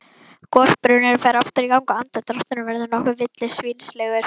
Gosbrunnurinn fer aftur í gang og andardrátturinn verður nokkuð villisvínslegur.